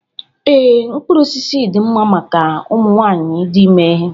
Ee, mkpụrụ osisi dị mma maka ụmụ nwanyị dị ime